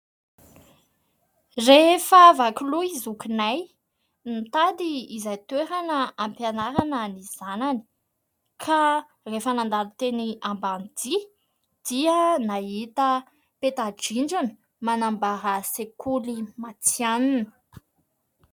Rehefa vaky loha i zokinay, nitady izay toerana hampianarana ny zanany ka rehefa nandalo teny Ambanidia dia nahita peta-drindrina manambara sekoly matihanina.